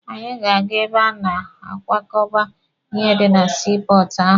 Anyị ga-aga ebe a na-akwakọba ihe dị na sii pọọtụ ahụ.